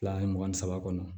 Fila ni mugan ni saba kɔnɔ